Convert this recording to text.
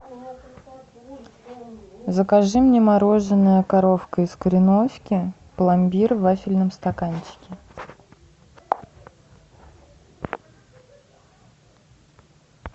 закажи мне мороженое коровка из кореновки пломбир в вафельном стаканчике